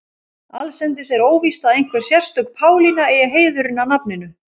Allsendis er óvíst að einhver sérstök Pálína eigi heiðurinn að nafninu.